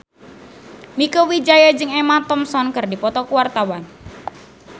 Mieke Wijaya jeung Emma Thompson keur dipoto ku wartawan